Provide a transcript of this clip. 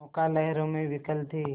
नौका लहरों में विकल थी